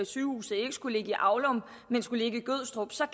at sygehuset ikke skulle ligge i aulum men skulle ligge i gødstrup så